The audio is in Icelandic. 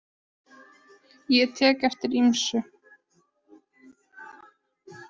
Ég tek eftir ýmsu.